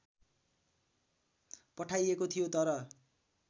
पठाइएको थियो तर